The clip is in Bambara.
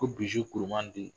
Ko bi kurumanden.